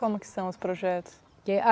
Como que são os projetos?